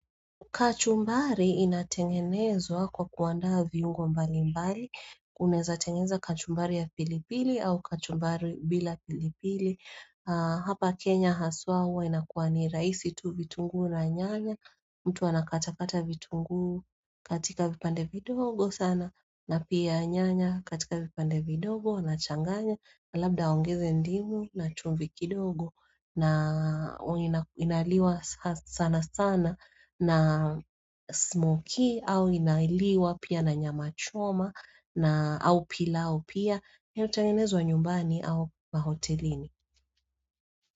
Kachumbari inatengenezwa kwa kuaandaa viungo mbalimbali, unaezatengeneza kachumbari ya pilipili au kachumbari bila pilipili. Hapa Kenya haswa huwa inakuwa ni raisi tu vitungu na nyanya, mtu anakatakata vitunguu katika vipande vidogo sana, na pia nyanya katika vipande vidogo anachanganya na labda aongeze ndimu na chumvi kidogo na inaliwa sana sana na smokie au inaliwa pia na nyama choma na au pilau pia inayotengenezwa nyumbani au mahotelini.